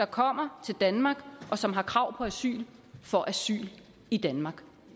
kommer til danmark og som har krav på asyl får asyl i danmark